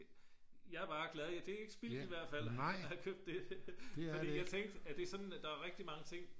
jeg er bare glad det er ikke spildt i hvert fald at have købt det for jeg tænkte er det sådan der er rigtig mange ting